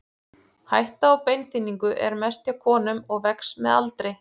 Hætta á beinþynningu er mest hjá konum og vex með aldri.